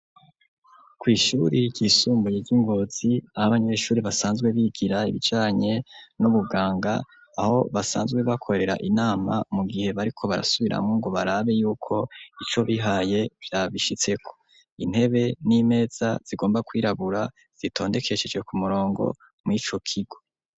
Kw'ishure ryisumbuye ry'i Ngozi aho abanyeshure basanzwe bigira ibijanye n'ubuganga, aho basanzwe bakorera inama mu gihe bariko barasubiramwo ngo barabe yuko ivyo bihaye babishitseko. Intebe n'imeza zigomba kwirabura zitondekesheje ku murongo mw'ico kigo.